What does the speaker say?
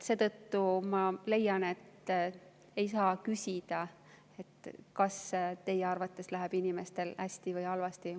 Seetõttu ma leian, et ei saa küsida, kas teie arvates läheb inimestel hästi või halvasti.